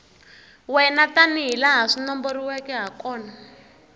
wena tanihilaha swi nomboriweke hakona